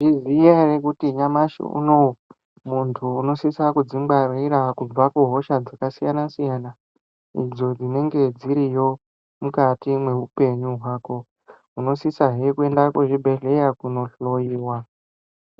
Mezviziya here kuti nyamashi uno uyu, muntu unosisa kudzingwarira kubva kuhosha dzakasiyana siyana idzo dzinenge dziriyo mukati mehupenyu hwako. Unosisazve kuenda kuzvibhedhlera kundohloyiwa.